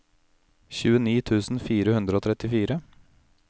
tjueni tusen fire hundre og trettifire